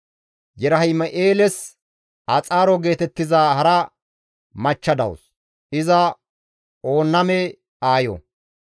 Yerahim7eeles Axaaro geetettiza hara machcha dawus; iza Oonname aayo.